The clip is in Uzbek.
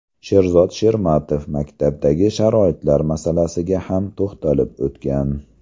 Sherzod Shermatov maktablardagi sharoitlar masalasiga ham to‘xtalib o‘tgan.